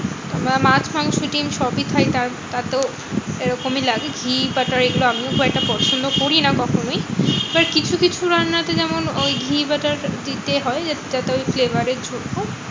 আমরা মাছ, মাংস, ডিম্ সবই খাই তার তার তো এরকমই লাগে। ঘি, butter এগুলো আমিও খুব একটা পছন্দ করি না কখনোই। but কিছু কিছু রান্নাতে যেমন ওই ঘি butter দিতে হয় যাতে ওই flavor এর জন্য।